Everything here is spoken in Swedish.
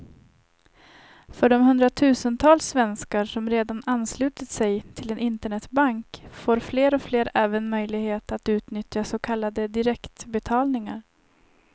För de hundratusentals svenskar som redan anslutit sig till en internetbank får fler och fler även möjlighet att utnyttja så kallade direktbetalningar.